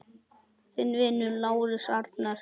Þinn vinur, Lárus Arnar.